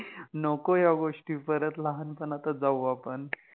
नको या गोष्टी, परत लहानपणातच जाऊ आपण.